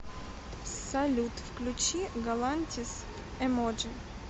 салют включи галантис эмоджи